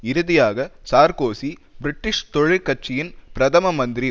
இறுதியாக Sarkozy British தொழிற் கட்சியின் பிரதம மந்திரி